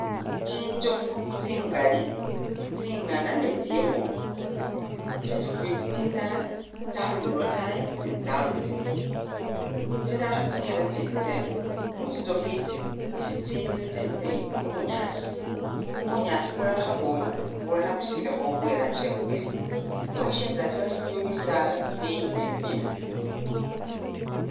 Tsinjofu tsingali tsingana ne tsikhulu, tsinzofu itsi tsindala tsyalolele lwotayi itsindi tsyalolele eno, tsindala kha tsikenda itsindi tsemile, mu tsinzofu itsi isi tsemile khu bunyaasi, bunyaasi bulala khabwoma bulala busilikho bwe lanji ya green, nga weshendele atayi iliyo bisaala bileyi ni bibimbi